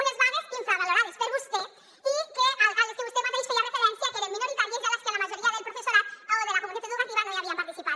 unes vagues infravalorades per vostè i de les què vostè mateix feia referència que eren minoritàries i a les que la majoria del professorat o de la comunitat educativa no hi havien participat